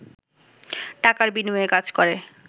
টাকার বিনিময়ে কাজ করে